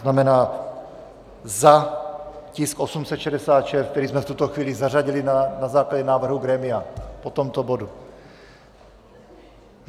To znamená, za tisk 866, který jsme v tuto chvíli zařadili na základě návrhu grémia po tomto bodu.